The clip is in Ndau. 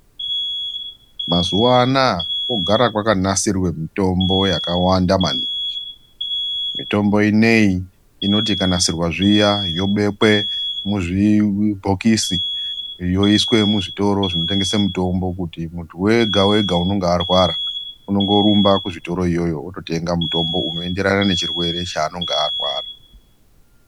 Mazuva anaya kogara kwaka nasirwe mitombo yakawanda maningi mitombo ineyi inoti ika nasirwa zviya yobekwe muzvi bhokisi yoiswe mu zvitoro zvino tengese mutombo kuti muntu wega wega unonga arwara unongo rumba ku zvitoro iyoyo oto tenga mutombo uno enderana ne chirwere cha anonga arwara.